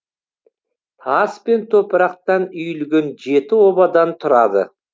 тас пен топырақтан үйілген жеті обадан тұрады